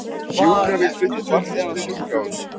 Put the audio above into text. Sjúkrabíll flutti farþegann á sjúkrahús